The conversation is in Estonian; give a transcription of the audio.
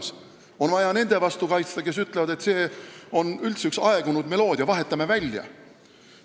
Meil on vaja hümni kaitsta nende eest, kes ütlevad, et see on üldse üks aegunud meloodia – vahetame välja.